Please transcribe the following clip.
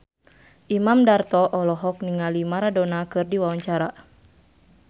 Imam Darto olohok ningali Maradona keur diwawancara